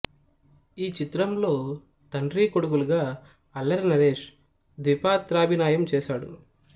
ఈ చిత్రంలో తండ్రీ కొడుకులుగా అల్లరి నరేష్ ద్విపాత్రాభినయం చేసాడు